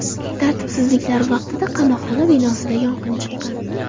Tartibsizliklar vaqtida qamoqxona binosida yong‘in chiqqan.